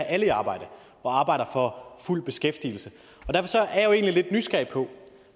alle i arbejde og arbejder for fuld beskæftigelse derfor er jo egentlig lidt nysgerrig på